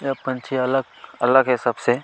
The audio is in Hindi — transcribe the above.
ये पंछी अलग अलग है सबसे --